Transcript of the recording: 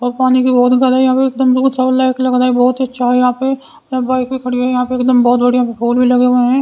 और पानी की बोहत भरा है यहां पे बहुत सारी बाइक भी खड़ी हुई हैं और यहां पे एकदम बहुत बड़ियां फूल भी लगे हुए हैं।